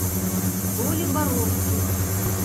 толе боровских